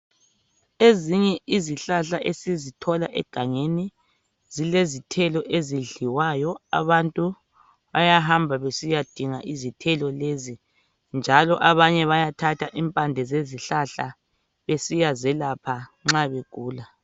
Ezinye izihlahla esizithola egangeni zilezithelo ezidliwayo abantu bayahamba besiya dinga izithelo lezo, njalo abanye bayathatha impande zezihlahla besiya zelapha nxa begula.